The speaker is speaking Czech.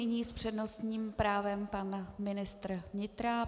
Nyní s přednostním právem pan ministr vnitra.